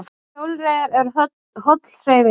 Hjólreiðar eru holl hreyfing